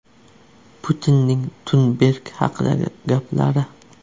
Putinning Tunberg haqidagi gaplari.